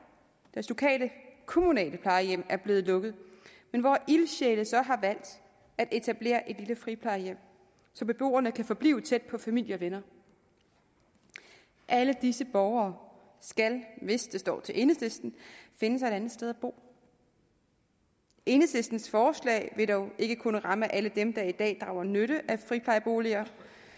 hvis lokale kommunale plejehjem er blevet lukket men hvor ildsjæle så har valgt at etablere et lille friplejehjem så beboerne kan forblive tæt på familie og venner alle disse borgere skal hvis det står til enhedslisten finde sig et andet sted at bo enhedslistens forslag vil dog ikke kun ramme alle dem der i dag drager nytte af friplejeboliger